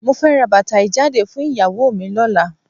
Mo fẹ́ ra bàtà ìjáde fún ìyàwó mi lọ́la.